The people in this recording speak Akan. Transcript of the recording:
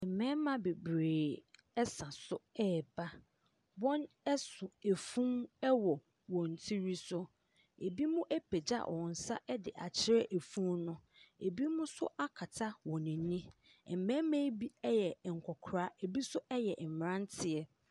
Mmarima bebree 3sa so reba , w)n 3so afunu 3w) w)n tiri so , ebi mo apagya w)n nsa 3de akyer3 afunu no , ebi mo nso akata w)n ani , mmarima yi bi y3 nk)kora , ebi nso y3 mmratie.